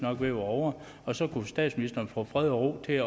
at være ovre og så kunne statsministeren få fred og ro til